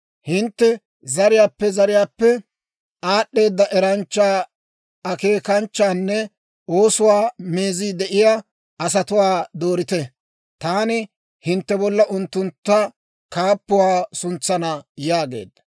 Hintte zariyaappe zariyaappe aad'd'eeda eranchcha, akeekanchchanne oosuwaa meezii de'iyaa asatuwaa doorite; taani hintte bolla unttunttu kaappuwaa suntsana› yaagaad.